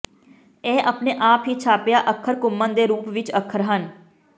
ਇਹ ਆਪਣੇ ਆਪ ਹੀ ਛਾਪਿਆ ਅੱਖਰ ਘੁੰਮਣ ਦੇ ਰੂਪ ਵਿਚ ਅੱਖਰ ਹਨ